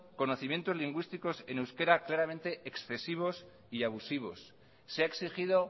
conocimientos lingüísticos en euskara claramente excesivos y abusivos se ha exigido